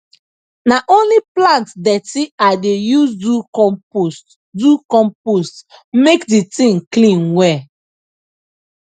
na only plant dirty i dey use do compost do compost make the thing clean well